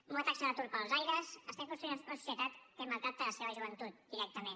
amb una taxa d’atur pels aires estem construint una societat que maltracta la seva joventut directament